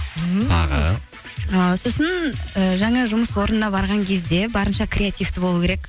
тағы ыыы сосын ііі жаңа жұмыс орнына барған кезде барынша креативті болу керек